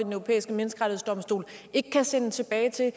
europæiske menneskerettighedsdomstol ikke kan sendes tilbage til